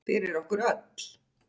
Fyrir okkur öll.